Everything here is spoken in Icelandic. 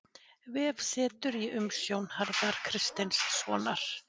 Vefsetur í umsjón Harðar Kristinssonar.